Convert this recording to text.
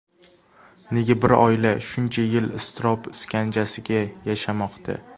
Nega bir oila shuncha yil iztirob iskanjasiga yashamoqda?